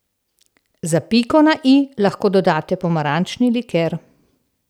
Za piko na i lahko dodate pomarančni liker.